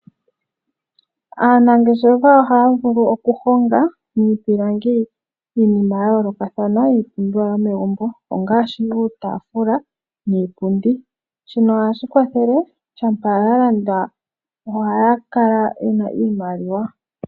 Aanangeshefa ohaavulu okuhonga miipilangi iinima ya yoolokathana iipumbiwa yomegumbo, ngaashi uutafula, niipundi. Shino ohashi kwathele shampa yalandwa ohaya kala yena iimaliwa.